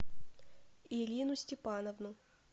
ирину степановну